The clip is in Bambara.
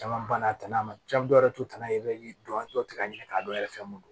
Caman banna a tana ma jamu dɔw yɛrɛ t'u tana ye i bɛ don an tɔ tɛ ka ɲini k'a dɔn yɛrɛ fɛn mun don